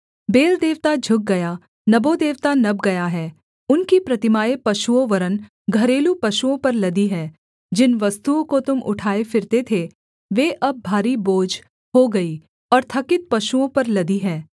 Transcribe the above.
bell देवता झुक गया नबो देवता नब गया है उनकी प्रतिमाएँ पशुओं वरन् घरेलू पशुओं पर लदी हैं जिन वस्तुओं को तुम उठाए फिरते थे वे अब भारी बोझ हो गईं और थकित पशुओं पर लदी हैं